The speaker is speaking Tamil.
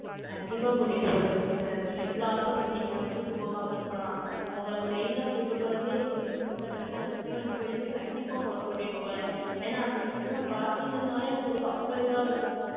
கண்டிப்பா கூட்டிட்டு போறேன் sister நீங்க இவ்ளோ ஆசைப்பட்டீங்கன்னா, கூட்டு போகாம இருப்பனா? உங்களை main ஆ கூட்டிட்டு போறதே, இப்ப recent ஆ கட்டுன, அந்த சிவன் கோயிலுக்கு, கண்டிப்பா உங்களை கூட்டிட்டு போறேன். ஏன்னா, அந்த சிவனை பாத்தீங்கன்னாலே, உங்களுக்கு அவ்வளவு இதா இருக்கும்.